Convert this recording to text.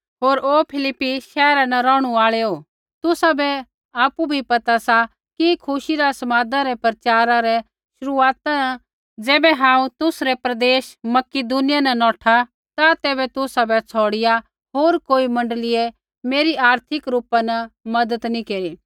होर ओ फिलिप्पी शैहरा न रौहणु आल़ैओ तुसाबै आपु भी पता सा कि खुशी रा समादा रै प्रचारा रै शुरुआता न ज़ैबै हांऊँ तुसरै प्रदेश मकिदुनिया न नौठा ता तैबै तुसाबै छ़ौड़िया होर कोई मण्डलीयै मेरी आर्थिक रूपा न मज़त नैंई केरी